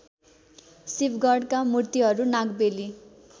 शिवगणका मूर्तिहरू नागबेली